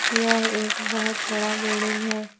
यह एक बहोत बड़ा बिल्डिंग है।